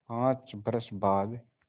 पाँच बरस बाद